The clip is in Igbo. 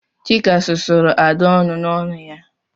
Chika susuru Ada ọnụ n'ọnu ya